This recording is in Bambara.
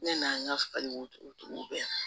Ne n'an ka falibo bɛɛ